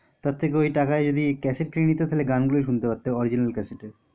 তার থেকে ওই টাকায় যদি cassette কিনে নিতে গান গুলো শুনতে পারতে original cassette এ